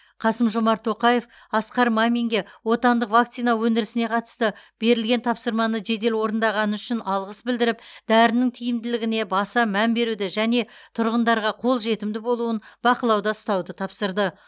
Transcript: қасым жомарт тоқаев асқар маминге отандық вакцина өндірісіне қатысты берілген тапсырманы жедел орындағаны үшін алғыс білдіріп дәрінің тиімділігіне баса мән беруді және тұрғындарға қол жетімді болуын бақылауда ұстауды тапсырды